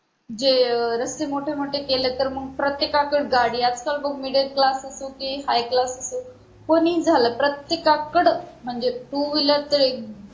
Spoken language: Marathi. जे रस्ते मोठे मोठे केलेत तर मग प्रत्येकाकड गाडी आजकाल मूल middle class असो कि high class असो कोणीही झालं तरी प्रत्येकाकडं म्हणजे two wheeler